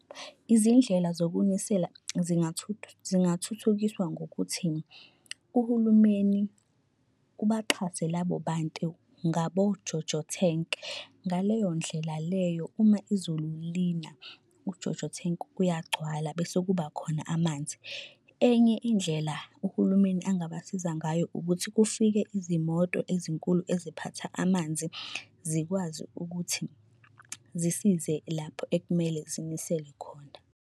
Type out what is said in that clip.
Izindlela zokunisela zingathuthukiswa ngokuthi, uhulumeni ubaxhase labo bantu ngabo JoJo Tank ngaleyo ndlela leyo uma izulu lina u-JoJo Tank uyagcwala bese kuba khona amanzi. Enye indlela uhulumeni angabasiza ngayo ukuthi kufike izimoto ezinkulu eziphatha amanzi zikwazi ukuthi zisize lapho ekumele zinisele khona.